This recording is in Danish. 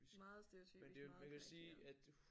Meget stereotypisk meget karikeret